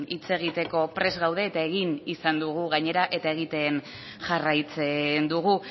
hitz egiteko prest gaude eta egin izan dugu gainera eta egiten jarraitzen dugu